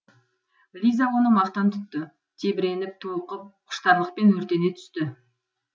лиза оны мақтан тұтты тебіреніп толқып құштарлықпен өртене түсті